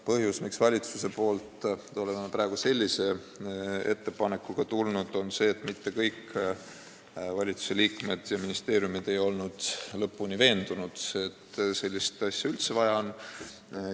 Põhjus, miks valitsus on praegu sellise ettepanekuga tulnud, on see, et mitte kõik valitsusliikmed ja ministeeriumid ei olnud lõpuni veendunud, et sellist asja üldse vaja on.